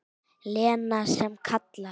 Lena sem kallar.